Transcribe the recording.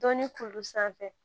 Dɔnni kuru sanfɛ